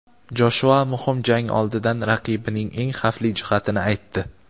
Joshua muhim jang oldidan raqibining eng xavfli jihatini aytdi.